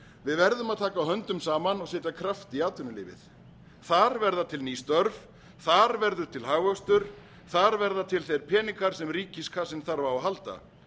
við verðum að taka höndum saman og setja kraft í atvinnulífið þar verða til ný störf þar verður til hagvöxtur þar verða til þeir peningar sem ríkiskassinn þarf á að halda